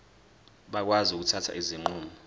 bakwazi ukuthatha izinqumo